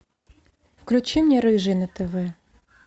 включи мне рыжий на тв